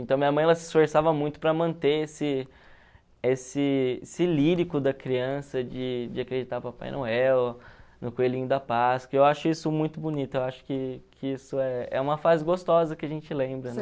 Então, minha mãe, ela se esforçava muito para manter esse esse esse lírico da criança de acreditar no Papai Noel, no Coelhinho da Páscoa, e eu acho isso muito bonito, eu acho que que isso é é uma fase gostosa que a gente lembra, né?